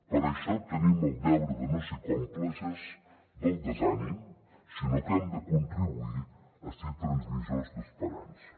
per això tenim el deure de no ser còmplices del desànim sinó que hem de contribuir a ser transmissors d’esperança